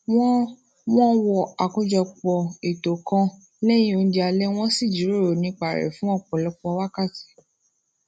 wón wón wo akojopò ètò kan léyìn oúnjẹ alé wón sì jíròrò nípa rè fún òpòlopò wákàtí